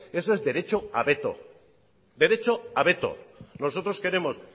eso es derecho a veto nosotros queremos